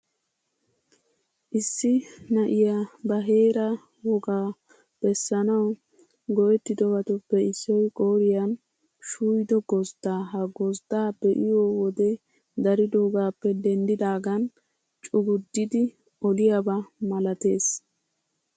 Issi na'iyaa ba heeraa wogaa beessanawu go'ttidobatupp issoy qooriyan shuuyido gozddaa. Ha gozddaa be'iyo wode daridoogaappe denddidaagan cuggudidi oliyaaba malatees.